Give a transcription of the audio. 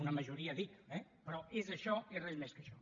una majoria dic eh però és això i res més que això